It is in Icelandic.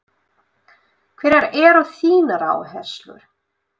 Hverjar eru þínar áherslur?